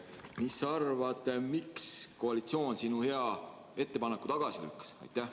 Mis sa arvad, miks koalitsioon sinu hea ettepaneku tagasi lükkas?